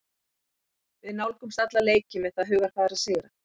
Við nálgumst alla leiki með það hugarfar að sigra.